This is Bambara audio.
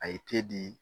A ye te di